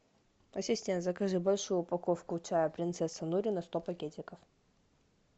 ассистент закажи большую упаковку чая принцесса нури на сто пакетиков